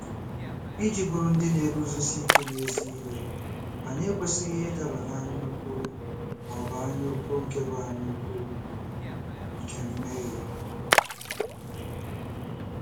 Iji bụrụ ndị na-eguzosi ike n'ezi ihe, anyị ekwesịghị ịdaba n'anyaukwu ma ọ bụ anyaukwu nke bụ anyaukwu nke mmehie.